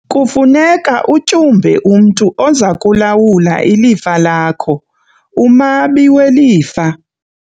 Kufuneka utyumbe umntu oza kulawula ilifa lakho umabi welifa.